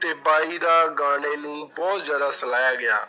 ਤੇ ਬਾਈ ਦਾ ਗਾਣੇ ਨੂੰ ਬਹੁਤ ਜ਼ਿਆਦਾ ਸਲਾਹਿਆ ਗਿਆ,